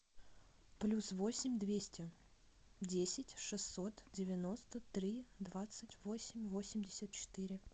плюс восемь двести десять шестьсот девяносто три двадцать восемь восемьдесят четыре